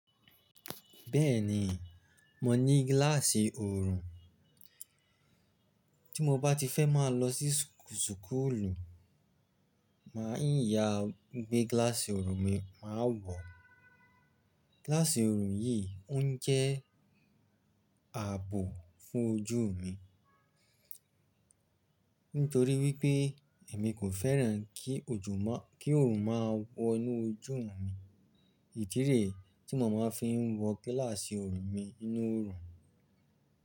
Bẹ́ẹ̀ni, mo ní gíláàsì oorun. Tí mo bá ti fẹ́ máa lọ sí súkùrùlù, màá yín ya gbé gíláàsì oorun mi, màá wọ̀. Gíláàsì oorun yìí ó ń jẹ́ ààbò fún ojú mi. Nítorí wípé èmi kò fẹ́ràn kí òjò má-- kí oòrùn máa wọ inú ojú mi. Ìdí rẹ̀ tí mo máa ń fi wọ gíláàsì oorun mi ninú oorun.